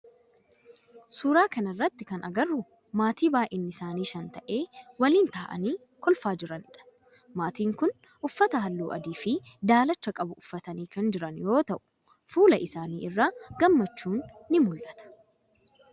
Suuraa kana irratti kan agarru maatii baayinni isaanii shan ta'e waliin ta'aanii kolfaa jiranidha. Maatiin kun uffata halluu adii fi daalacha qabu uffatanii kan jiran yoo ta'u fuula isaanii irraa gammachuun ni muul'ata.